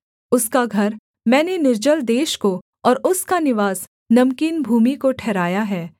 उसका घर मैंने निर्जल देश को और उसका निवास नमकीन भूमि को ठहराया है